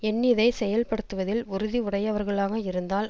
எண்ணியதைச் செயல்படுத்துவதில் உறுதி உடையவர்களாக இருந்தால்